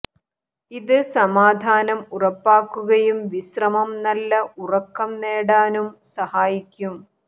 ഇത് സമാധാനം ഉറപ്പാക്കുകയും വിശ്രമവും നല്ല ഉറക്കം നേടാനും സഹായിക്കും